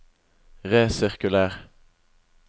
resirkuler